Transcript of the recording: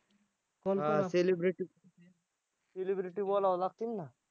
celebrity बोलावं लागतील ना.